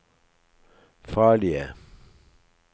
farlige